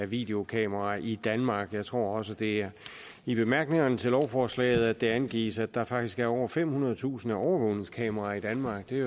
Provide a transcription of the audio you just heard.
videokameraer i danmark jeg tror også at det er i bemærkningerne til lovforslaget at det angives at der faktisk er over femhundredetusind overvågningskameraer i danmark det